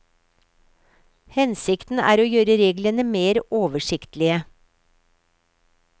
Hensikten er å gjøre reglene mer oversiktlige.